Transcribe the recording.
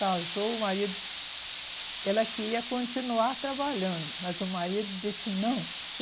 Casou, o marido... Ela queria continuar trabalhando, mas o marido disse, não.